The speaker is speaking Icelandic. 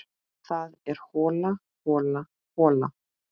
Það er hola, hola, hola.